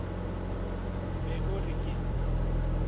be o re ke e